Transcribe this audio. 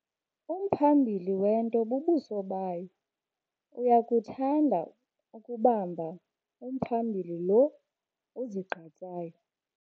Umphambili wento bubuso bayo. uyakuthanda ukubamba umphambili lo uzigqatsayo